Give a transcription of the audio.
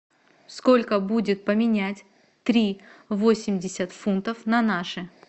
сколько будет поменять три восемьдесят фунтов на наши